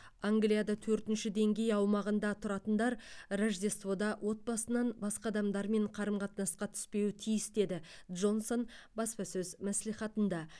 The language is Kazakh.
англияда төртінші деңгей аумағында тұратындар рождествода отбасынан басқа адамдармен қатынасқа түспеуі тиіс деді джонсон баспасөз мәслихатында